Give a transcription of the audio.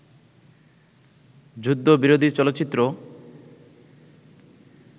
যুদ্ধবিরোধী চলচ্চিত্র